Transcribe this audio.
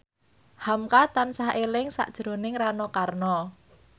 hamka tansah eling sakjroning Rano Karno